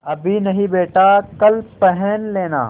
अभी नहीं बेटा कल पहन लेना